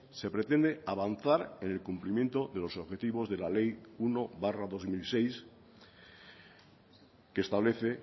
se pretende avanzar en el cumplimiento de los objetivos de la ley uno barra dos mil seis que establece